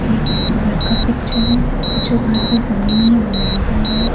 ये किसी घर का पिक्चर है जो घर अभी बनी नहीं बनाया जा रहा हैं।